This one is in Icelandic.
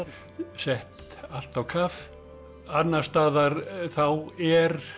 sett allt á kaf annars staðar þá er